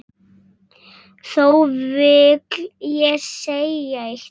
Þó vil ég segja eitt.